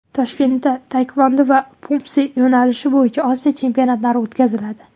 Toshkentda taekvondo va Pumse yo‘nalishi bo‘yicha Osiyo chempionatlari o‘tkaziladi.